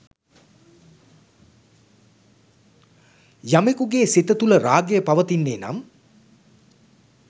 යමකුගේ සිත තුළ රාගය පවතින්නේ නම්